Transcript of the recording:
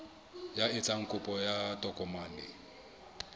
ya etsang kopo ya tokomane